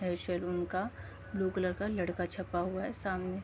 Salon का blue colour का लड़का छपा हुआ है सामने।